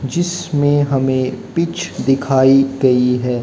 जिसमें हमें पिच दिखाई गई है।